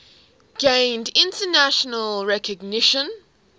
gained international recognition